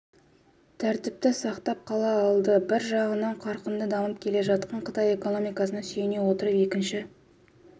тәртіпті сақтап қала алды бір жағынан қарқынды дамып келе жатқан қытай экономикасына сүйене отырып екінші